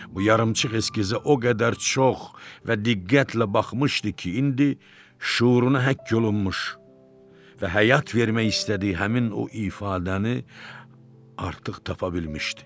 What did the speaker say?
Bu yarımçıq eskizə o qədər çox və diqqətlə baxmışdı ki, indi şüuruna həkk olunmuş və həyat vermək istədiyi həmin o ifadəni artıq tapa bilmişdi.